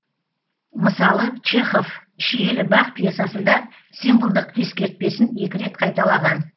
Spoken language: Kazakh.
мысалы чехов шиелі бақ пьесасында символдық ескертпесін екі рет қайталаған